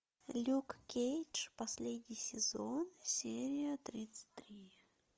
люк кейдж последний сезон серия тридцать три